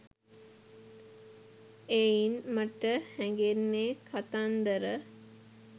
එයින් මට හැඟෙන්නේ කතන්දර